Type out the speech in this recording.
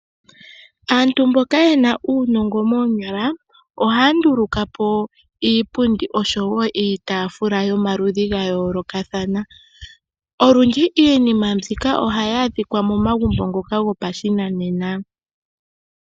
Aantu mboka yena uunongo moonyala ohaa ndulukapo iipundi osho wo iitafula yomaludhi gayoolokathana, olundji iinima mbika ohayi adhikwa momagumbo gopashinanena.